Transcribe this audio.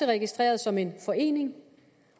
registreret som en forening